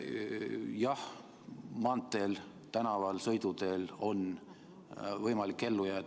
Jah, maanteel, tänaval, sõiduteel on võimalik ellu jääda.